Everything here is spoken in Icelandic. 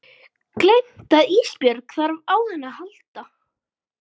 Gleymt að Ísbjörg þarf á henni að halda.